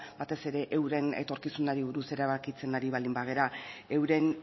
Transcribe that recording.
batez ere euren etorkizunari buruz erabakitzen baldin bagara euren